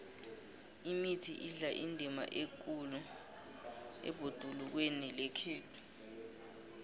imithi idlala indima ekhulu ebhodulukweni lekhethu